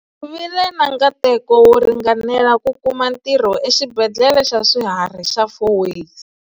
Vi le na nkateko wo ringanela ku kuma ntirho eXibendhlele xa Swihari xa Fourways.